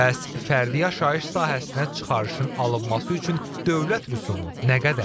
Bəs fərdi yaşayış sahəsinə çıxarışın alınması üçün dövlət rüsumu nə qədərdir?